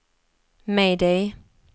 mayday